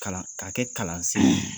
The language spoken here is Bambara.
Kalan kalan k'a kɛ kalansen